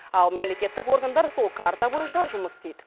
ал мемлекеттік органдар сол карта бойынша жұмыс істейді